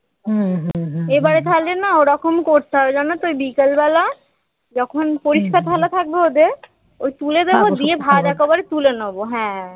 এবারে তাহলে না ঐরকম করতে হবে জানো তো ঐ বিকেলবেলা যখন পরিষ্কার থালা থাকবে ওদের ওই তুলে দেবো দিয়ে ভাত একেবারে তুলে নেব হ্যাঁ